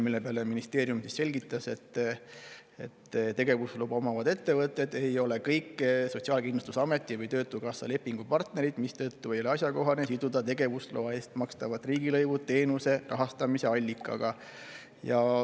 Selle peale ministeeriumi esindaja selgitas, et kõik tegevusluba omavad ettevõtted ei ole Sotsiaalkindlustusameti või töötukassa lepingupartnerid, mistõttu ei ole asjakohane siduda tegevusloa eest makstavat riigilõivu teenuse rahastamise allikaga.